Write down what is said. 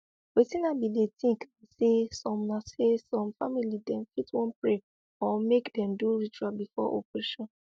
wetin i bin dey think na say some na say some family dem fit wan pray or make dem do ritual before operation